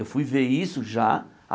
Eu fui ver isso já.